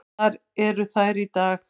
Þar eru þær í dag.